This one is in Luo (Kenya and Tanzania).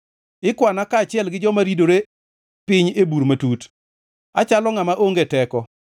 Ikwana kaachiel gi joma ridore piny ei bur matut; achalo ngʼama onge teko.